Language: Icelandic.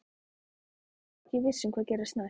Svo er ég ekki viss um hvað gerist næst.